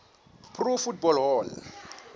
pro football hall